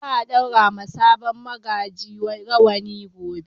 Za a ɗaura wa sabon magaji rawani gobe.